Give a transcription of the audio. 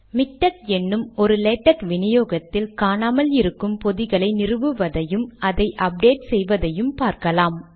MiKTeX என்னும் ஒரு LaTeX வினியோகத்தில் காணாமல் இருக்கும் பொதிகளை நிறுவுவதையும் அதை அப்டேட் செய்வதையும் பார்க்கலாம்